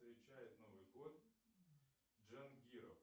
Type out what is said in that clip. встречает новый год джангиров